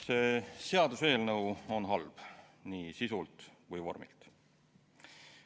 See seaduseelnõu on halb nii sisult kui ka vormilt.